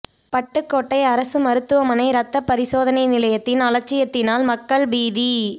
பட்டுக்கோட்டை அரசு மருத்துவமனை ரத்த பரிசோதனை நிலையத்தின் அலட்சியத்தினால் மக்கள் பீதி